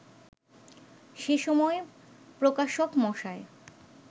সেসময় প্রকাশক মশায়